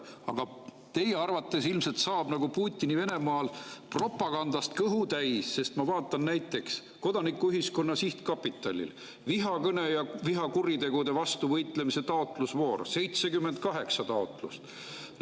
Aga teie arvates saab ilmselt nagu Putini Venemaal propagandast kõhu täis, sest ma vaatan, et näiteks Kodanikuühiskonna Sihtkapitali vihakõne ja vihakuritegude vastu võitlemise taotlusvooru 78 taotlust.